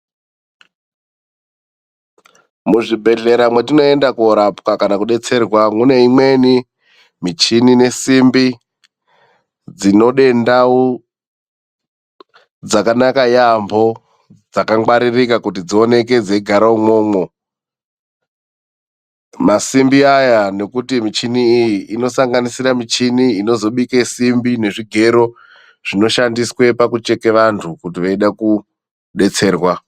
Muzvibhedhlera mwetinoenda korapwa kana kudetserwa, mune imweni michini nesimbi dzinode ndau dzakanaka yaambo, dzakangwaririka kuti dzioneke dzeigara imwomwo. Masimbi aya nekuti michini iyi inosanganisira michini inozobike simbi nezvigero zvinoshandiswe pakucheke vantu kuti veide kudetserwa.